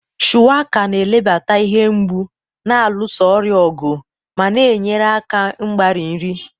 Shuwaka na-ebelata ihe mgbu, na-alụso ọrịa ọgụ, ma na-enyere aka mgbari nri.